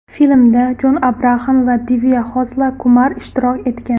Filmda Jon Abraxam va Divya Xosla Kumar ishtirok etgan.